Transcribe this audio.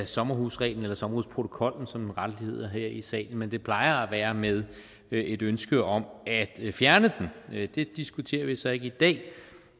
sommerhusreglen eller sommerhusprotokollen som den rettelig hedder her i salen men det plejer at være med et ønske om at fjerne den det diskuterer vi så ikke i dag